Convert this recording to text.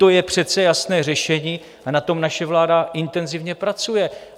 To je přece jasné řešení a na tom naše vláda intenzivně pracuje.